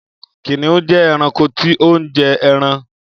Kìnìún jẹ eranko tí o njẹ ẹran.